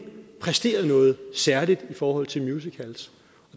præsteret noget særligt i forhold til musicals